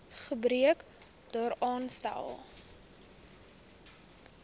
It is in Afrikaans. gebrek daaraan stel